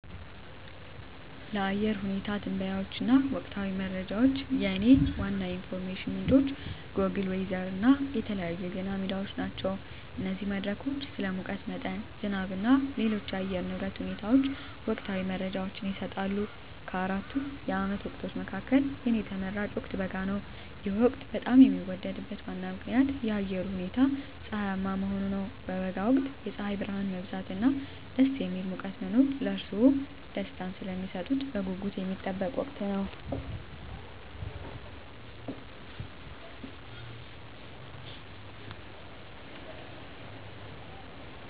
ለአየር ሁኔታ ትንበያዎች እና ወቅታዊ መረጃዎች፣ የእኔ ዋና የኢንፎርሜሽን ምንጮች ጎግል ዌዘር እና የተለያዩ የዜና ሚዲያዎች ናቸው። እነዚህ መድረኮች ስለ ሙቀት መጠን፣ ዝናብ እና ሌሎች የአየር ንብረት ሁኔታዎች ወቅታዊ መረጃዎችን ይሰጣሉ። ከአራቱ የዓመት ወቅቶች መካከል፣ የእኔ ተመራጭ ወቅት በጋ ነው። ይህ ወቅት በጣም የሚወደድበት ዋና ምክንያት የአየሩ ሁኔታ ፀሐያማ መሆኑ ነው። በበጋ ወቅት የፀሐይ ብርሃን መብዛት እና ደስ የሚል ሙቀት መኖር ለእርስዎ ደስታን ስለሚሰጡት በጉጉት የሚጠበቅ ወቅት ነው።